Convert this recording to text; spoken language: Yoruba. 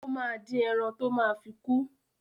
Ó máa dín ẹran tó ma fi kú.